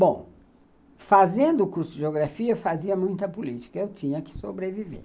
Bom, fazendo o curso de geografia, eu fazia muita política, eu tinha que sobreviver.